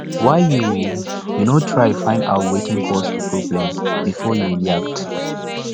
why you you no try find out wetin cause di problem before you react